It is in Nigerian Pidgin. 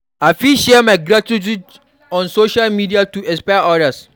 I fit share my gratitude on social media to inspire others.